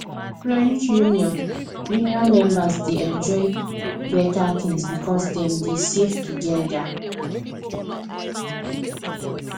credit union union members dey enjoy better things because dem dey save together